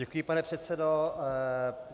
Děkuji, pane předsedo.